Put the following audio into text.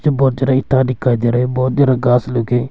बहोत सारा इटा दिखाई दे रहे बहोत सारा घास लोग--